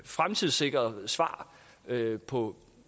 fremtidssikrede svar på